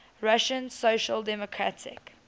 russian social democratic